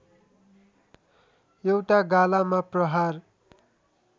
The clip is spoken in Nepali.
एउटा गालामा प्रहार